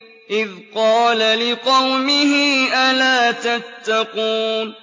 إِذْ قَالَ لِقَوْمِهِ أَلَا تَتَّقُونَ